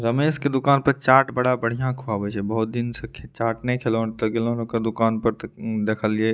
रमेश के दूकान पे चाट बड़ा बढ़िया खुयाबे छे बहुत दिन से खी चाट नहीं खैलोव त गेलन ओकर दूकान पे त उम देखलिय --